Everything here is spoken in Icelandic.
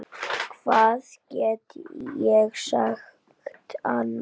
Hvað get ég sagt annað?